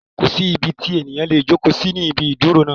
Kò sí ibi tí ènìyàn lè jókòó sí ní ibi ìdúró náà.